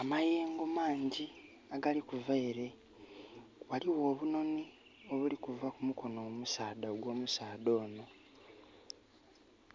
Amayengo mangi agali kuva ere. Waliwo obunoni obuli kuva kumukono omusaadha ogwo musaadha ono